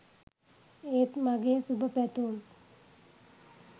ඒත් මගේ සුබ පැතුම්